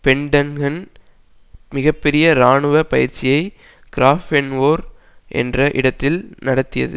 Pentagon மிக பெரிய இராணுவ பயிற்சியை கிராஃபென்வோர் என்ற இடத்தில் நடத்தியது